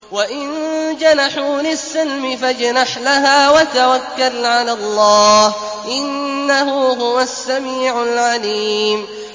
۞ وَإِن جَنَحُوا لِلسَّلْمِ فَاجْنَحْ لَهَا وَتَوَكَّلْ عَلَى اللَّهِ ۚ إِنَّهُ هُوَ السَّمِيعُ الْعَلِيمُ